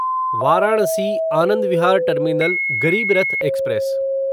Varanasi Anand Vihar terminal Garib Rath express